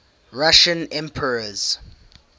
russian emperors